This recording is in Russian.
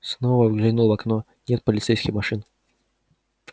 снова выглянул в окно нет полицейских машин